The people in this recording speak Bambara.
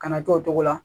Kana to o cogo la